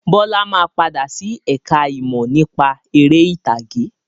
Bọlá máa padà sí ẹ̀ka ìmọ̀ nípa ère ìtàgé.